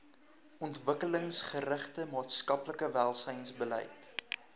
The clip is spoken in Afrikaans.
ontwikkelingsgerigte maatskaplike welsynsbeleid